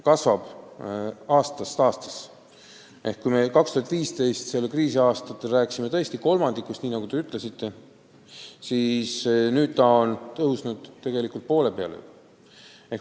Kui me 2015. aastal alanud kriisi alguses rääkisime tõesti kolmandikust, nii nagu te ütlesite, siis nüüdseks on see määr juba poole peale tõusnud.